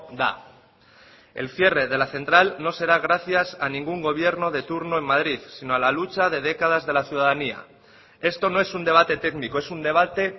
da el cierre de la central no será gracias a ningún gobierno de turno en madrid sino a la lucha de décadas de la ciudadanía esto no es un debate técnico es un debate